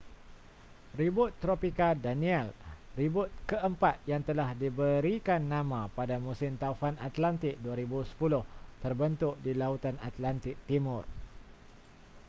ribut tropika danielle ribut keempat yang telah diberikan nama pada musim taufan atlantik 2010 terbentuk di lautan atlantik timur